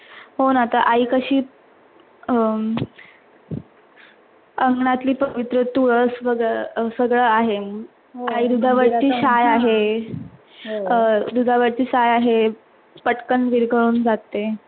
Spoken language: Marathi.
हो ना तर आई कशीअह अंगनातिल पवित्र तुळस वगैरह सगळं आहे, आई दूधा वरचि साय आहे. पटकन विरघळून जाते.